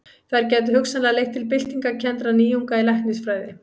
Þær gætu hugsanlega leitt til byltingarkenndra nýjunga í læknisfræði.